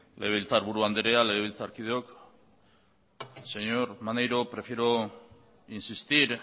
legebiltzarburu andrea legebiltzarkideok señor maneiro prefiero insistir